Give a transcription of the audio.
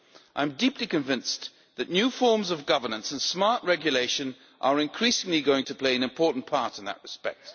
I am deeply convinced that new forms of governance and smart regulation are increasingly going to play an important part in that respect.